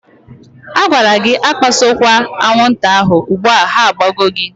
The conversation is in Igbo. A gwara gị akpasokwa aṅwụnta ahụ, ugbua ha agbago gị!